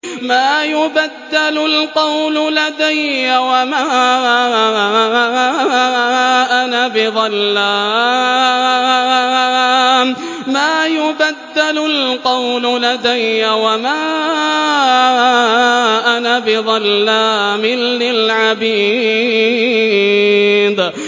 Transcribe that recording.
مَا يُبَدَّلُ الْقَوْلُ لَدَيَّ وَمَا أَنَا بِظَلَّامٍ لِّلْعَبِيدِ